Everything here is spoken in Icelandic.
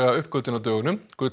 uppgötvun á dögunum